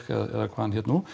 eða hvað hann hét nú